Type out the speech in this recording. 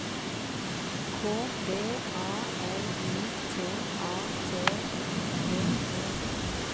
K V A L I T A T I V E